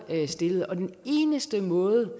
stillet den eneste måde